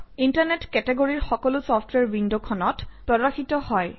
internet কেটেগৰীৰ সকলো software উইণ্ডখনত প্ৰদৰ্শিত হয়